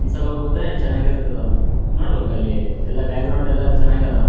ಅಹ್‌ mask ಅಂತಾ ಕಾಣ್ತಾ ಅದರ ಮೆಲಗಡೆ ಕ್ರಾಸ ಮಾರ್ಕ ಇರೊದ್ರಿಂದ ಯಾವದೊ ಕ್ರಿಶ್ಚನ ವರದ್ದು--